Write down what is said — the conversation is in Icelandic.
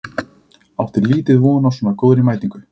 Átti liðið von á svona góðri mætingu?